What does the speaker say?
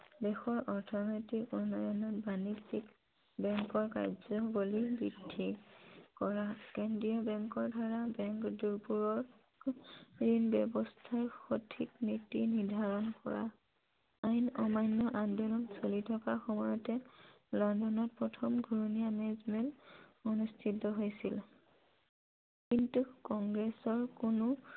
আইন অমান্য় আন্দোলন চলি থকা সময়তে লণ্ডনত প্ৰথম ঘুৰণীয়া মেজমেল অনুষ্ঠিত হৈছিল । কিন্তু কংগ্ৰেছৰ কোনো